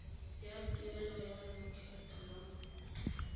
ya tuelo ya lokgetho lwa